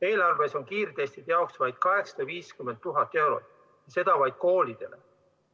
Eelarves on kiirtestide jaoks vaid 850 000 eurot, seda vaid koolidele.